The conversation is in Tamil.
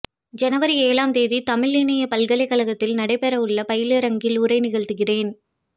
ஜனவரி ஏழாம் தேதி தமிழ் இணையப் பல்கலைகழகத்தில் நடைபெறவுள்ள பயிலரங்கில் உரை நிகழ்த்துகிறேன்